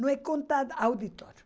Não é conta, auditor.